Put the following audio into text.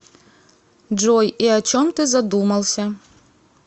джой и о чем ты задумался